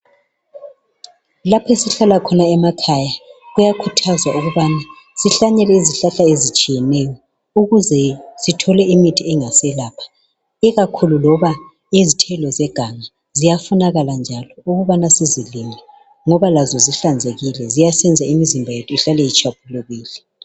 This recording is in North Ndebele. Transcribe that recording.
Lapho esihlala khona emakhaya, kuyakhuthazwa ukubana sihlanyele izihlahla ezitshiyeneyo ukuze sithole imithi engaselapha. Ikakhulu loba izithelo zeganga ziyafunakala njalo ukubana sizigcine ngoba lazo zihlanzekile ziyasenza imizimba yethu ihlale itshwaphulukile .